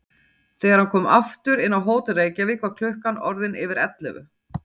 Þegar hann kom aftur inn á Hótel Reykjavík var klukkan orðin yfir ellefu.